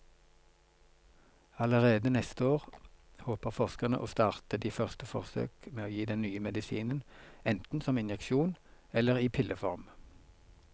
Allerede neste år håper forskerne å starte de første forsøk med å gi den nye medisinen enten som injeksjon eller i pilleform.